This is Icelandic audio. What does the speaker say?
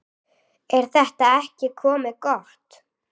Er þetta ekki komið gott?